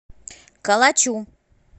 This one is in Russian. калачу